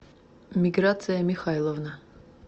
миграция михайловна